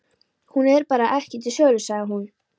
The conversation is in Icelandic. Hún er bara ekki til sölu, sagði hún.